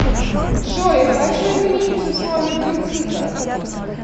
джой хочу изменить условия кредита